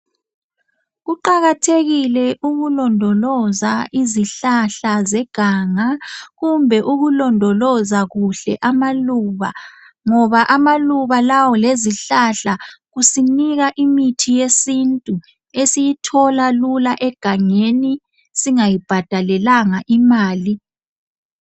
Kuqakathekile ukulondoloza izihlahla zeganga kumbe ukulondoloza kuhle amaluba ngoba amaluba lawa lezihlahla kusinika imithi yesintu esiyithola lula singayibhadalelanga imali